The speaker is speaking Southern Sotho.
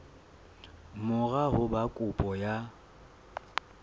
mora ho ba kopo ya